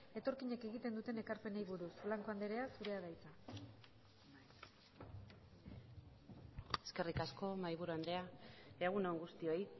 etorkinek egiten duten ekarpenari buruz blanco anderea zurea da hitza eskerrik asko mahaiburu andrea egun on guztioi